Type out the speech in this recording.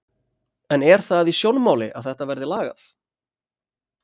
En er það í sjónmáli að þetta verði lagað?